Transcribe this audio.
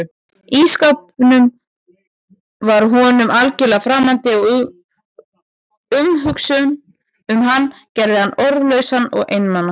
Ísskápurinn var honum algjörlega framandi og umhugsunin um hann gerði hann orðlausan og einmana.